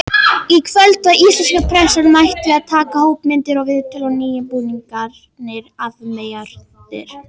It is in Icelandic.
Í kvöld var íslenska pressan mætt að taka hópmyndir og viðtöl og nýju búningarnir afmeyjaðir.